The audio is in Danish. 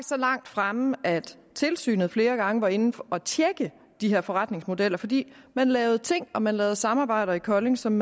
så langt fremme at tilsynet flere gange var inde at tjekke de her forretningsmodeller fordi man lavede ting og man lavede samarbejder i kolding som